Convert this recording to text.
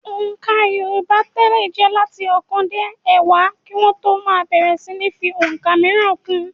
Òǹkà yorùbá tẹ́lẹ̀ jẹ́ láti ọ̀kan dé ẹ̀wá kí wọ́n tó máa bẹ̀rẹ̀ síní fi ọ̀ǹkà mìíràn kún un.